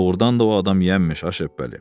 Doğurdan da o adam yaman imiş, a Şəbpəli.